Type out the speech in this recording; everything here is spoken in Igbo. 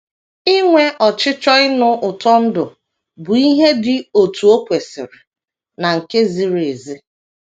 Inwe ọchịchọ ịnụ ụtọ ndụ bụ ihe dị otú o kwesịrị na nke ziri ezi.